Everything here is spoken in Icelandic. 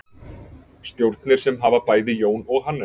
Stjórnir sem hafa bæði Jón og Hannes.